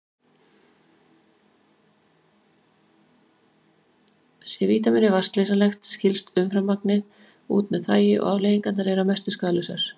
Sé vítamínið vatnsleysanlegt skilst umframmagnið út með þvagi og afleiðingarnar eru að mestu skaðlausar.